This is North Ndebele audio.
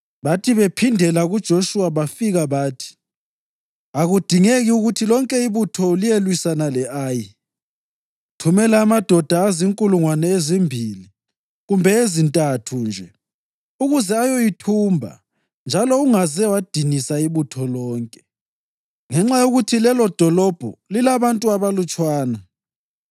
Bathi bephindela kuJoshuwa bafika bathi, “Akudingeki ukuthi lonke ibutho liyelwisana le-Ayi. Thumela amadoda azinkulungwane ezimbili kumbe ezintathu nje ukuze ayoyithumba njalo ungaze wadinisa ibutho lonke, ngenxa yokuthi lelodolobho lilabantu abalutshwana.”